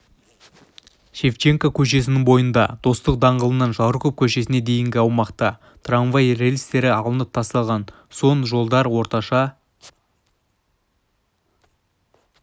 шевченко көшесінің бойында достық даңғылынан жароков көшесіне дейінгі аумақта трамвай рельстері алынып тасталған соң жолдар орташа